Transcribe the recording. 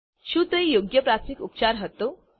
શું તે યોગ્ય પ્રાથમિક ઉપચાર હતો